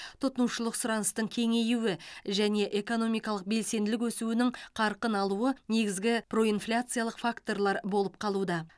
тұтынушылық сұраныстың кеңеюі және экономикалық белсенділік өсуінің қарқын алуы негізгі проинфляциялық факторлар болып қалуда